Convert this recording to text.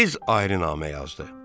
Tez ayrı namə yazdı.